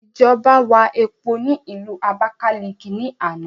Ìjọba wà epo ni ilu Abákáliki ni àná